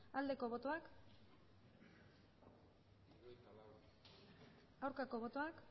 aldeko botoak aurkako botoak